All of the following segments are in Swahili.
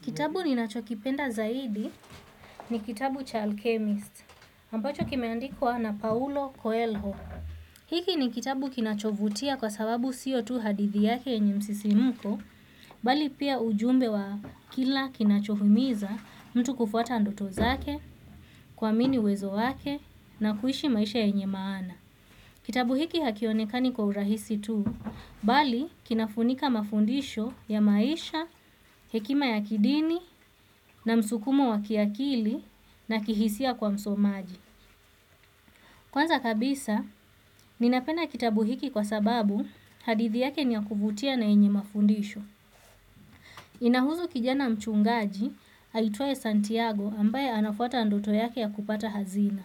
Kitabu ninacho kipenda zaidi ni kitabu cha alchemist ambacho kimeandikwa na paulo koelho hiki ni kitabu kinachovutia kwa sababu sio tu hadithi yake yenye msisimko bali pia ujumbe wa kile kinachohimiza mtu kufuata ndoto zake kuamini uwezo wake, na kuishi maisha yenye maana. Kitabu hiki hakionekani kwa urahisi tu, bali kinafunika mafundisho ya maisha, hekima ya kidini na msukumo wa kiakili na kihisia kwa msomaji. Kwanza kabisa ninapenda kitabu hiki kwa sababu hadithi yake ni ya kuvutia na yenye mafundisho. Inahusu kijana mchungaji, aitwae Santiago ambaye anafuata ndoto yake ya kupata hazina.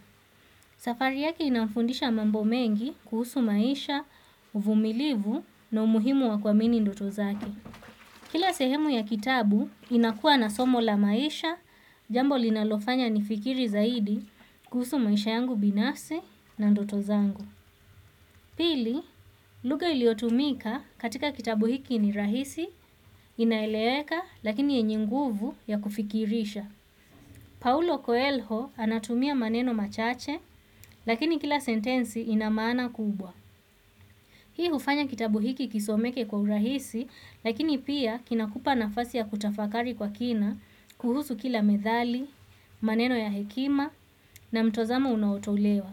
Safari yake inamfundisha mambo mengi kuhusu maisha, uvumilivu na umuhimu wa kuamini ndoto zake. Kila sehemu ya kitabu inakua na somo la maisha, jambo linalofanya nifikiri zaidi kuhusu maisha yangu binafsi na ndoto zangu. Pili lugha iliyotumika katika kitabu hiki ni rahisi inaeleweka lakini yenye nguvu ya kufikirisha Paulo Coelho anatumia maneno machache, lakini kila sentensi inamaana kubwa. Hii hufanya kitabu hiki kisomeke kwa urahisi, lakini pia kinakupa nafasi ya kutafakari kwa kina kuhusu kila medhali, maneno ya hekima, na mtozama unaotolewa.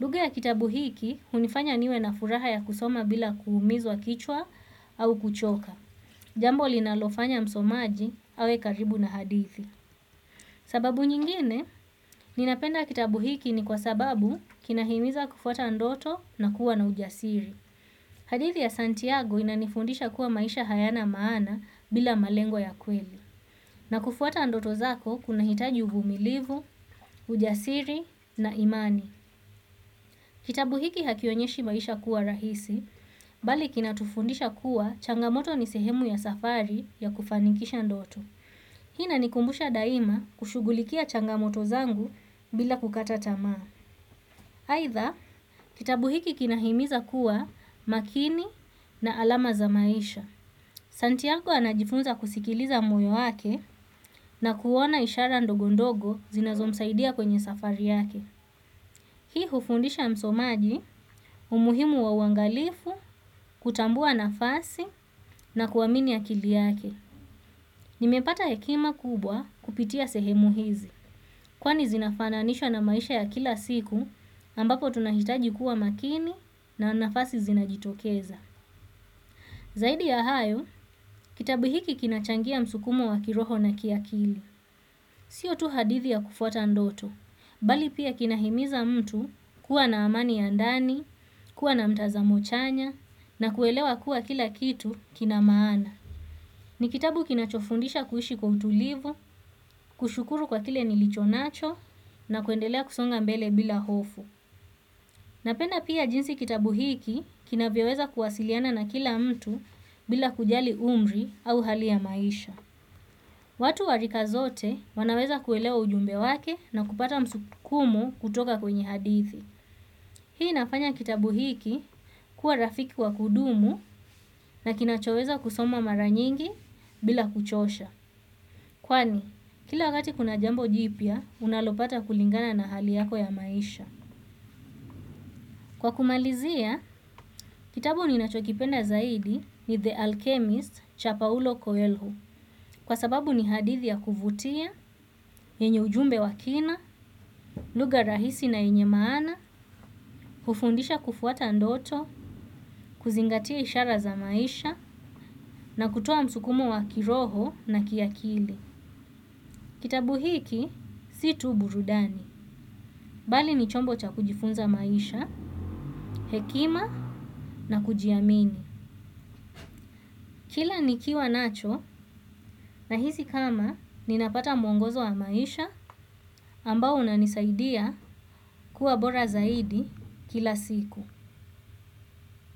Lugha ya kitabu hiki hunifanya niwe na furaha ya kusoma bila kuumizwa kichwa au kuchoka. Jambo linalofanya msomaji awe karibu na hadithi. Sababu nyingine ninapenda kitabu hiki ni kwa sababu kinahimiza kufuata ndoto na kuwa na ujasiri. Hadithi ya Santiago inanifundisha kuwa maisha hayana maana bila malengo ya kweli. Na kufuata ndoto zako kunahitaji uvumilivu ujasiri na imani. Kitabu hiki hakionyeshi maisha kuwa rahisi, bali kinatufundisha kuwa changamoto ni sehemu ya safari ya kufanikisha ndoto. Hii inanikumbusha daima kushugulikia changamoto zangu bila kukata tamaa. Aitha, kitabu hiki kinahimiza kuwa makini na alama za maisha. Santiago anajifunza kusikiliza moyo wake na kuona ishara ndogondogo zinazomsaidia kwenye safari yake. Hii hufundisha msomaji umuhimu wa uangalifu, kutambua nafasi na kuamini akili yake. Nimepata hekima kubwa kupitia sehemu hizi, kwani zinafananishwa na maisha ya kila siku ambapo tunahitaji kuwa makini na nafasi zinajitokeza. Zaidi ya hayo, kitabu hiki kinachangia msukumo wa kiroho na kiakili. Sio tu hadithi ya kufuata ndoto, bali pia kinahimiza mtu kuwa na amani ya ndani, kuwa na mtazamo chanya, na kuelewa kuwa kila kitu kina maana. Ni kitabu kinachofundisha kuishi kwa utulivu, kushukuru kwa kile nilichonacho na kuendelea kusonga mbele bila hofu. Napenda pia jinsi kitabu hiki kinavyoweza kuwasiliana na kila mtu bila kujali umri au hali ya maisha. Watu wa rika zote wanaweza kuelewa ujumbe wake na kupata msukumo kutoka kwenye hadithi. Hii inafanya kitabu hiki kuwa rafiki wa kudumu na kinachoweza kusomwa mara nyingi bila kuchosha. Kwani, kila wakati kuna jambo jipya, unalopata kulingana na hali yako ya maisha. Kwa kumalizia, kitabu ninachokipenda zaidi ni The Alchemist cha Paulo Coelho. Kwa sababu ni hadithi ya kuvutia, yenye ujumbe wa kina, lugha rahisi na yenye maana, hufundisha kufuata ndoto, kuzingatia ishara za maisha, na kutoa msukumo wa kiroho na kiakili. Kitabu hiki, si tu burudani, bali ni chombo cha kujifunza maisha, hekima na kujiamini. Kila nikiwa nacho nahisi kama ninapata mwongozo wa maisha ambao unanisaidia kuwa bora zaidi kila siku.